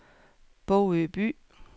Bogø By